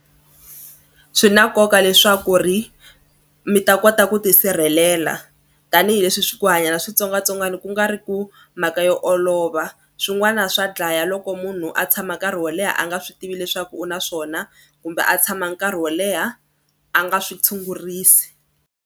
Swi na nkoka leswaku ri mi ta kota ku tisirhelela tanihileswi swi ku hanya na switsongwatsongwani ku nga ri ku mhaka yo olova swin'wana swa dlaya loko munhu a tshama nkarhi wo leha a nga swi tivi leswaku u na swona kumbe a tshama nkarhi wo leha a nga swi tshungurisi.